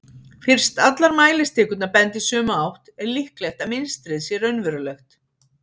fyrst allar mælistikurnar benda í sömu átt er líklegt að mynstrið sé raunverulegt